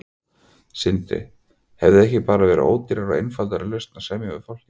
Sindri: Hefði ekki bara verið ódýrara og einfaldari lausn að semja við fólkið?